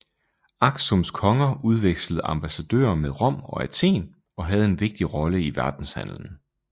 Aksums konger udvekslede ambassadører med Rom og Athen og havde en vigtig rolle i verdenshandlen